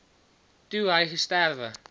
toe hy gesterwe